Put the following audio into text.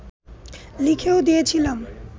লিখেও দিয়েছিলাম